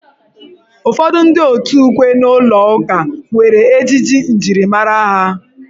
Ụfọdụ ndị òtù ukwe n'ụlọ ụka nwere ejiji njirimara ha.